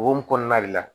O hukumu kɔnɔna de la